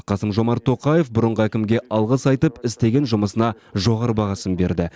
қасым жомарт тоқаев бұрынғы әкімге алғыс айтып істеген жұмысына жоғары бағасын берді